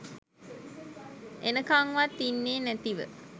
එනකන් වත් ඉන්නේ නැතිව